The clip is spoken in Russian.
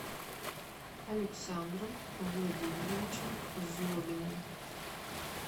александром владимировичем злобиным